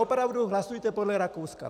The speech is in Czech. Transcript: Opravdu hlasujte podle Rakouska.